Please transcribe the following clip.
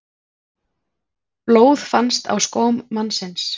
Blóð fannst á skóm mannsins